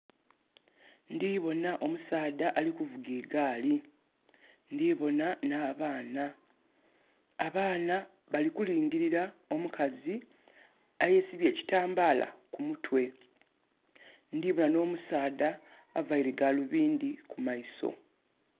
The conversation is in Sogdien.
Ndiboona omusaadha ali kuvuga egaali. ndiboona n' abaana. Abaana bali kulingilira omukazi ayesibye ekitambala kumutwe. Ndhiboona no musaadha avaire galubindhi ku maiso.